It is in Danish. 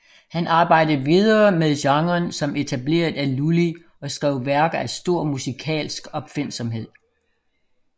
Han arbejdede videre med genren som etableret af Lully og skrev værker af stor musikalsk opfindsomhed